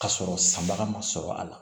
Ka sɔrɔ sanbaga ma sɔrɔ a la